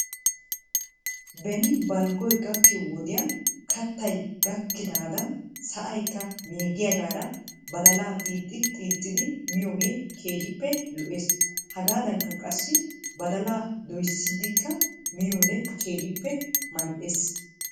Be balggoy gakkiyoo wodiyan kattaykka gakidaanan sa'aykka meeggiyaagaara badalaa xiixi xiixidi miyoogee keehippe lo'ees. Hegaadankka qassi badalaa doyssidikka miyoode keehippe mal"es.